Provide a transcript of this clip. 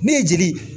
Ne ye jeli ye